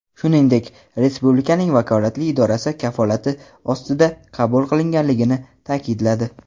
shuningdek "respublikaning vakolatli idorasi kafolati ostida" qabul qilinganligini ta’kidladi.